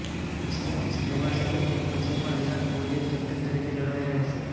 West Indies પ્રવાસ અને તે પછી પણ વિરાટ કોહલી જ કેપ્ટન તરીકે જળવાઇ રહેશે